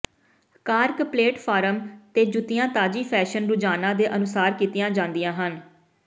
cork platform ਤੇ ਜੁੱਤੀਆਂ ਤਾਜ਼ੀ ਫੈਸ਼ਨ ਰੁਝਾਨਾਂ ਦੇ ਅਨੁਸਾਰ ਕੀਤੀਆਂ ਜਾਂਦੀਆਂ ਹਨ